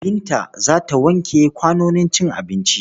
Binta za ta wanke kwanonin cin abinci.